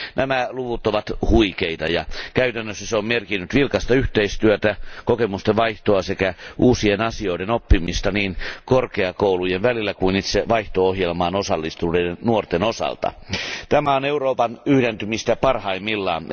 Nämä luvut ovat huikeita ja käytännössä se on merkinnyt vilkasta yhteistyötä, kokemusten vaihtoa sekä uusien asioiden oppimista niin korkeakoulujen välillä kuin itse vaihto ohjelmaan osallistuneiden nuorten osalta. Tämä on Euroopan yhdentymistä parhaimmillaan!